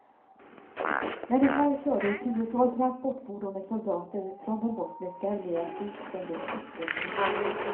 Men igår körde ett tiotal transportfordon med soldater från den bosniska armén ut under stoppbommen.